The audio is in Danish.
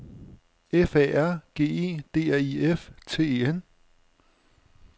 F Æ R G E D R I F T E N